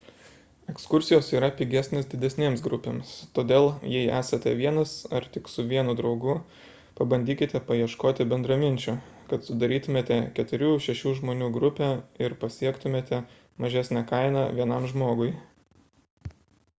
ekskursijos yra pigesnės didesnėms grupėms todėl jei esate vienas ar tik su vienu draugu pabandykite paieškoti bendraminčių kad sudarytumėte 4–6 žmonių grupę ir pasiektumėte mažesnę kainą vienam žmogui